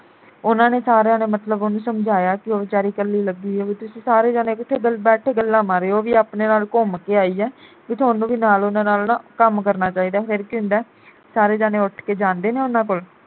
ਉਨ੍ਹਾਂ ਨੇ ਸਾਰਿਆਂ ਨੇ ਮਤਲਬ ਉਹਨੂੰ ਸਮਝਾਇਆ ਕਿ ਉਹ ਵਿਚਾਰੀ ਕੱਲੀ ਲੱਗੀ ਆ ਬਈ ਤੁਸੀ ਸਾਰੇ ਜਾਣੇ ਕਿਥੇ ਬੈਠ ਕੇ ਗੱਲਾਂ ਮਾਰ ਰਹੇ ਓ ਉਹ ਵੀ ਆਪਣੇ ਨਾਲ ਘੁੰਮ ਕੇ ਆਈ ਆ ਬਈ ਤੁਹਾਨੂੰ ਵੀ ਨਾਲ ਉਨ੍ਹਾਂ ਨਾਲ ਨਾ ਕੰਮ ਕਰਨਾ ਚਾਹੀਦਾ। ਫਿਰ ਕੀ ਹੁੰਦਾ ਸਾਰੇ ਜਾਣੇ ਉਠ ਕੇ ਜਾਂਦੇ ਨੇ ਉਨ੍ਹਾਂ ਕੋਲ